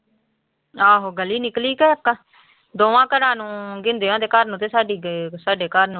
ਆਹੋ ਗਲੀ ਨਿਕਲੀ ਕਿ ਇੱਕ ਦੋਵਾਂ ਘਰਾਂ ਨੂੰ ਗਿੰਦਿਆਂ ਦੇ ਘਰ ਨੂੰ ਤੇ ਸਾਡੀ ਗ ਸਾਡੇ ਘਰ ਨੂੰ।